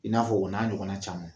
I n'a fɔ o n'a ɲɔgɔnna caman